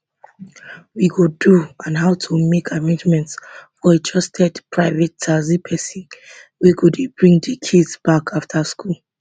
we go do and how to make arrangements for a trusted private taxi pesin wey go dey bring di kids back afta school